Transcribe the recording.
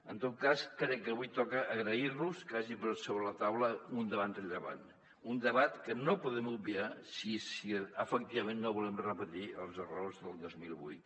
en tot cas crec que avui toca agrair los que hagin posat sobre la taula un debat que no podem obviar si efectivament no volem repetir els errors del dos mil vuit